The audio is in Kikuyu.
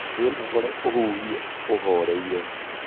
Wĩnogore ũhuhie ũhoreire